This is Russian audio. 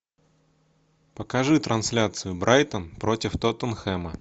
покажи трансляцию брайтон против тоттенхэма